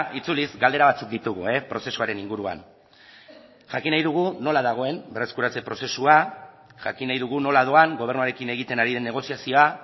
itzuliz galdera batzuk ditugu prozesuaren inguruan jakin nahi dugu nola dagoen berreskuratze prozesua jakin nahi dugu nola doan gobernuarekin egiten ari den negoziazioa